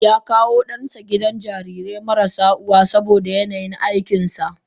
Yakawo dansa gidan jarirai marasa uwa saboda yanayin aikinsa.